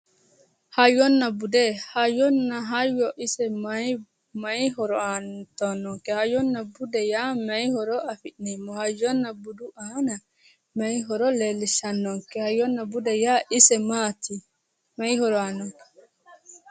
Hayyona bude. hayyonna bude ise maayi horo uuyitannonke? hayyonna bude yaa mayi horo afidhino? hayyonna budu aana mayi horo leellishshannonke, hayyonna bude yaa ise maati maayi horo aannonke?